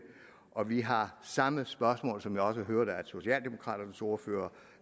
og vi har samme spørgsmål som jeg også hørte at socialdemokraternes ordfører